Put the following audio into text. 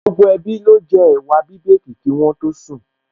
Gbogbo ẹbí ló jẹ ẹ̀wà bíbèèkì kí wọ́n tó sùn